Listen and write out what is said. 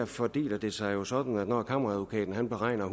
fordeler det sig jo sådan at når kammeradvokaten beregner